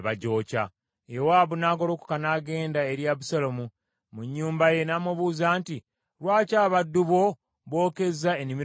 Yowaabu n’agolokoka n’agenda eri Abusaalomu mu nnyumba ye n’amubuuza nti, “Lwaki abaddu bo bookezza ennimiro yange?”